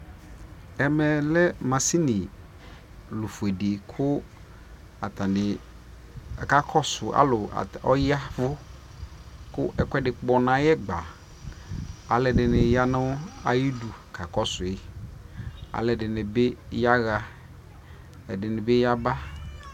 ɛmɛ lɛ mashini ɔƒʋɛdi kʋ atani aka kɔsʋ alʋ ɔya kʋ ɛkʋɛdi kpɔ nʋ ayi ɛgba, alʋɛdini yanʋayidʋ kakɔsʋi, alʋɛdini bi yaha ɛdini bi yaba